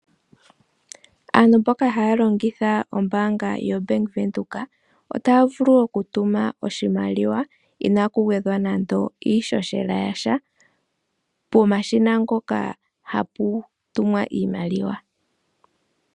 Aantu mboka haya longitha ombaanga yoBank Windhoek otaya vulu oku tuma iimaliwa inaaku gwedhwa nando iishoshela yasha pomashina ngoka hapu tumwa iimaliwa.